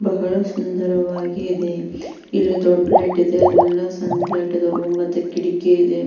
ಬಹಳ ಸುಂದರವಾಗಿದೆ ಇಲ್ಲಿ ದೊಡ್ಡ ಲೈಟ್ ಇದೆ ಎಲ್ಲ ಸಣ್ಣ ಲೈಟ್ ಇದಾವು ಮತ್ತೆ ಕಿಡಕಿ ಇದೆ.